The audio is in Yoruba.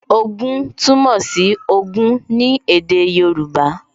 Ogún túmọ̀ sí Ogún ní èdè Yorùbá